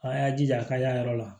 A y'a jija a ka y'a yɔrɔ la